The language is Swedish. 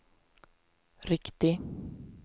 riktig